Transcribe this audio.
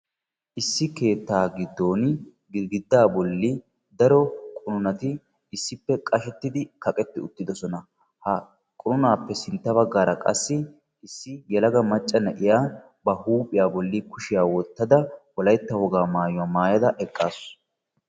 Issi keettaa giddon gidgiddaa bollan daro qunuunati issippe qashettidi qaketti uttidosona. Ha qununaappe sintta baggaara qassi issi yelaga macca na'iya ba huuphiya bolli kushiya wottada wolaytta wogaa maayuwa maayada eqqaasu.